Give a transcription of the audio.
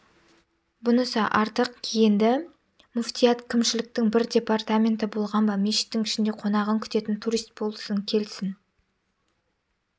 бұнысы артық енді муфтият кімшіліктің бір департаменті болған ба мешіттің ішінде қонағын күтетін турист болсын келсін